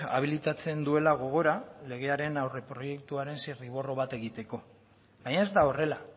abilitatzen duela gogora legearen aurreproiektuaren zirriborro bat egiteko baina ez da horrela